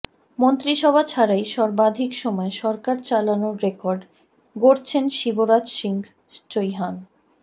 মন্ত্রিসভা ছাড়াই সর্বাধিক সময় সরকার চালানোর রেকর্ড গড়ছেন শিবরাজ সিং চৌহান